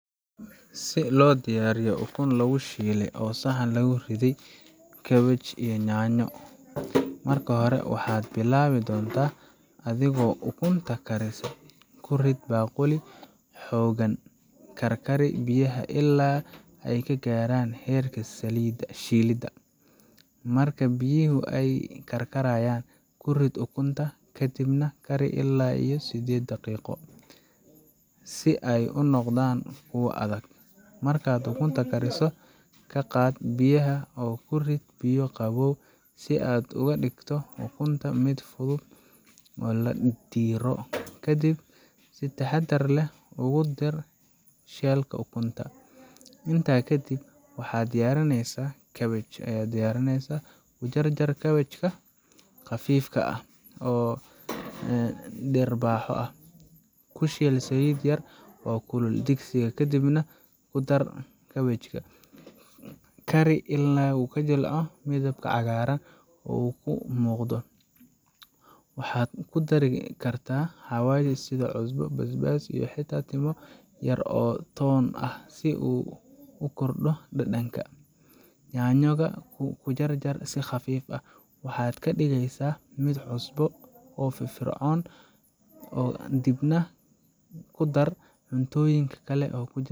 Si loo diyaariyo ukun lagu shiley oo saxan lagu riday cabbage iyo yaanyo, marka hore waxaad bilaabi doontaa adigoo ukunta karisa. Ku rid baaquli xooggan, karkari biyaha illaa ay ka gaarayaan heerka shilidda. Marka biyaha ay karkarayaan, ku rid ukunta, kadibna kari ilaa sided daqiiqo si ay u noqdaan kuwo adag. Markaad ukunta kariso, ka qaad biyaha oo ku rid biyo qabow si aad uga dhigto ukunta mid fudud in la diiro. Kadib, si taxaddar leh ugu diirso shell ka ukunta. Intaa kadib, waxaad diyaarisaa cabbage. Ku jarjar kaabajka qaab khafiif ah oo dhirbaaxo ah. Ku shiil saliid yar oo kulul digsiga, kadibna ku dar kaabajka. Kari ilaa uu jilco oo midabka cagaaran uu ka soo muuqdo. Waxaad ku dari kartaa xawaash sida cusbo, basbaas, iyo xitaa timo yar oo toon ah si aad ugu kordhiso dhadhanka. Yaanyo ga, ku jarjar si khafiif ah. Waxaad ka dhigaysaa mid cusub oo firfircoon, ka dibna ku dar cuntooyinka kale ee ku jira